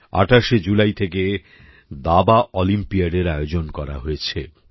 ২৮শে July থেকে দাবা অলিম্পিয়াডের আয়োজন করা হয়েছে